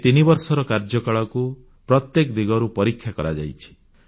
ଏହି 3 ବର୍ଷର କାର୍ଯ୍ୟକାଳକୁ ପ୍ରତ୍ୟେକ ଦିଗରୁ ପରୀକ୍ଷା କରାଯାଇଛି